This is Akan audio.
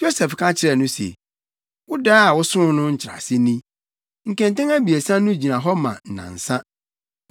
Yosef ka kyerɛɛ no se, “Wo dae a wosoo no nkyerɛase ni, Nkɛntɛn abiɛsa no gyina hɔ ma nnansa.